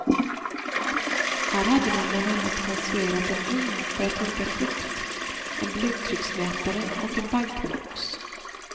Här hade man bland annat konstruerat en ugn för att torka frukt, en blodtrycksmätare och en bankbox.